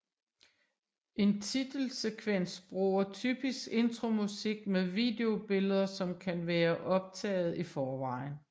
En titelsekvens bruger typisk intromusik med videobilleder som kan være optaget i forvejen